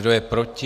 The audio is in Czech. Kdo je proti?